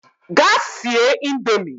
Gaa sie indomie!